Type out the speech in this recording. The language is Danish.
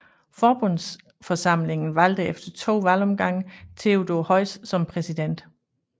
Forbundsforsamlingen valgte efter to valgomgange Theodor Heuss som præsident